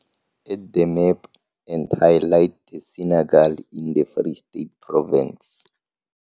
Add the map and highlight the Senekal in the Free State Province.